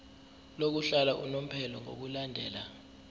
lokuhlala unomphela ngokulandela